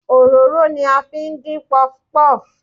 Òróró ni a fi ń dín puff-puff.